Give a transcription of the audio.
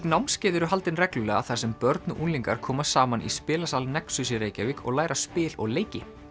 námskeið eru haldin reglulega þar sem börn og unglingar koma saman í spilasal nexus í Reykjavík og læra spil og leiki